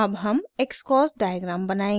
अब हम xcos diagram बनाएंगे